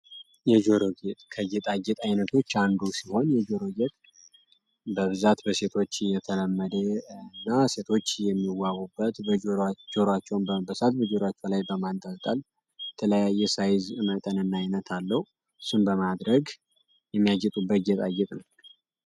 የጆሮ ጌጥ ከጌጣጌጥ አይነቶች አንዱ ሲሆን የጆሮ ጌጥ በብዛት በሴቶች የተለመዴ እና ሴቶች የሚዋቡበት በጆሮቸውን በመበሳት በጆሮቸው ላይ በማንጠጠል ተለያየ ሳይዝ መጠንና ዓይነት አለው እሱን በማድረግ የሚያጌጡበት ጌጣ ጌጥ ነው።